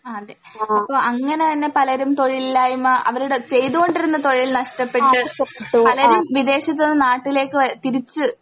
ആ അതെ അപ്പൊ അങ്ങനെ തന്നെ പലരും തൊഴിലില്ലായ്മ അവരുടെ ചെയ്തുകൊണ്ടിരുന്ന തൊഴിൽ നഷ്ടപ്പെട്ട് പലരും വിദേശത്തു നിന്ന് നാട്ടിലേക്ക് വാ തിരിച്ച്